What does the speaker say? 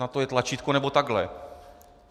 Na to je tlačítko, nebo takhle .